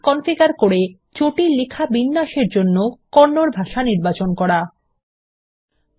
configure করে জটিল লেখা বিন্যাসের জন্য কন্নড ভাষা নির্বাচন করুন